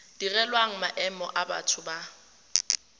direlwang maemo a batho ba